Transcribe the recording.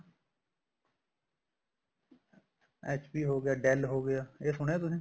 HP dell ਹੋਗਿਆ ਇਹ ਸੁਣਿਆ ਤੁਸੀਂ